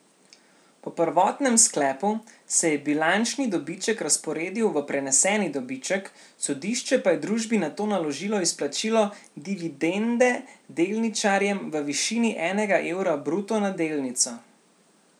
Po prvotnem sklepu se je bilančni dobiček razporedil v preneseni dobiček, sodišče pa je družbi nato naložilo izplačilo dividende delničarjem v višini enega evra bruto na delnico.